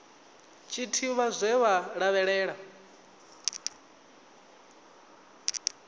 tshi ḓivha zwe vha lavhelela